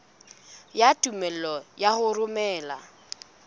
ya tumello ya ho romela